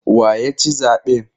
Wa ya ci zaɓen?